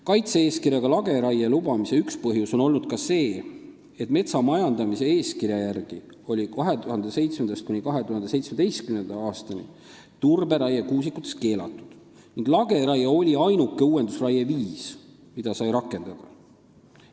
Kaitse-eeskirjaga lageraie lubamise üks põhjusi on olnud ka see, et metsa majandamise eeskirja järgi oli 2007.–2017. aastani turberaie kuusikutes keelatud ning lageraie oli ainuke uuendusraie viis, mida sai rakendada.